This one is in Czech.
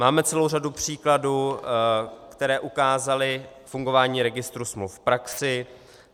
Máme celou řadu příkladů, které ukázaly fungování registru smluv v praxi.